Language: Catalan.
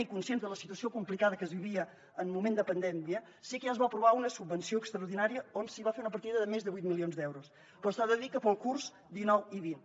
i conscients de la situació complicada que es vivia en moment de pandèmia sí que ja es va aprovar una subvenció extraordinària on es va fer una partida de més de vuit milions d’euros però s’ha de dir que per al curs dinou vint